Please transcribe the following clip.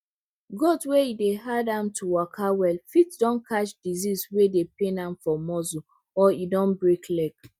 goat wey e dey hard am to waka well fit don catch disease wey dey pain am for muscle or e don break leg